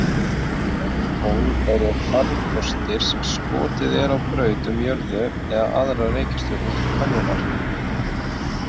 Gervitungl eru farkostir sem skotið er á braut um jörðu eða aðrar reikistjörnur til könnunar.